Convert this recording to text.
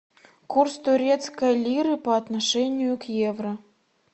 курс турецкой лиры по отношению к евро